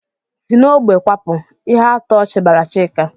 "Si n'ógbè kwapụ!" Ihuatọchị bara Chika.